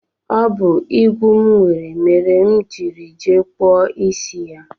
Ọ bụ igwu m nwere mere m jiri jee kpụọ isi ya